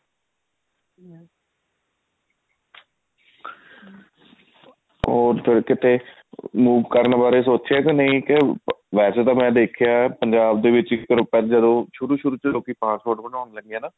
ਉਹ ਫ਼ੇਰ ਕਿਤੇ move ਕਰਨ ਬਾਰੇ ਸੋਚਿਆ ਕੇ ਨਹੀਂ ਕੇ ਵੇਸੇ ਤਾਂ ਮੈਂ ਦੇਖਿਆ ਪੰਜਾਬ ਦੇ ਵਿੱਚ ਇੱਕ ਸ਼ੁਰੂ ਸ਼ੁਰੂ ਚ ਲੋਕੀ passport ਬਣਵਾਉਣ ਲੱਗੇ ਆ ਨਾ